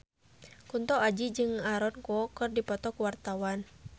Kunto Aji jeung Aaron Kwok keur dipoto ku wartawan